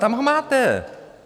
Tam ho máte!